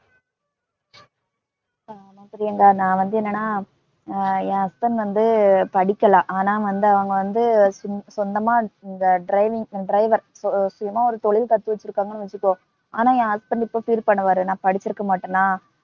ஆமா பிரியங்கா. நான் வந்து என்னன்னா ஹம் என் husband வந்து படிக்கல. ஆனா வந்து அவங்க வந்து சொந்தமா driving ச~ driver. சுயமா ஒரு தொழில் கத்து வச்சிருக்காங்கன்னு வெச்சுக்கோ, ஆனால் ஏன் husband இப்ப feel பண்ணுவாரு, நான் படிச்சுருக்கமாட்டானா